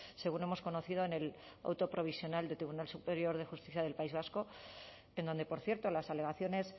según hemos conocido en el auto provisional del tribunal superior de justicia del país vasco en donde por cierto las alegaciones